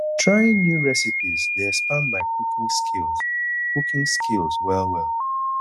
trying new recipes dey expand my cooking skills cooking skills well well